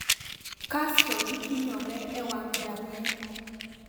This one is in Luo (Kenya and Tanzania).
Kasto githinyore e wang` jang`eto.